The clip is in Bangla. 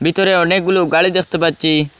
ভিতরে অনেকগুলো গালি দেখতে পাচ্ছি আ--